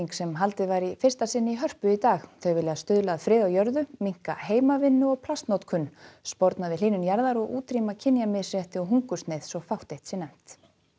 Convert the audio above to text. sem haldið var í fyrsta sinn í Hörpu í dag þau vilja stuðla að friði á jörðu minnka heimavinnu og plastnotkun sporna við hlýnun jarðar og útrýma kynjamisrétti og hungursneyð svo fátt eitt sé nefnt